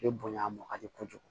E bonya man di kojugu